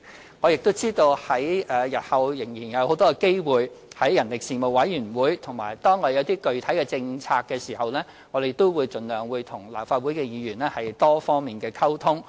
此外，我知道日後我們仍然有很多機會，可在人力事務委員會回應，而當我們提出一些具體政策時，我們也會盡量與立法會議員作多方面溝通。